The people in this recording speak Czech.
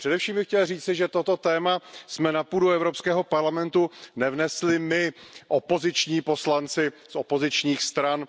Především bych chtěl říci, že toto téma jsme na půdu Evropského parlamentu nevnesli my, opoziční poslanci z opozičních stran.